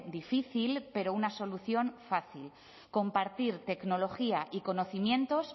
difícil pero una solución fácil compartir tecnología y conocimientos